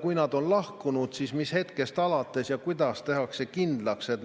Kui nad on lahkunud, siis mis hetkest alates ja kuidas tehakse kindlaks, et